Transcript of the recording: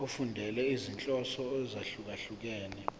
efundela izinhloso ezahlukehlukene